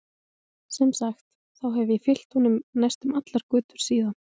Sem sagt, þá hef ég fylgt honum næstum allar götur síðan.